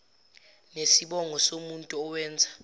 nesibongo somuntu owenza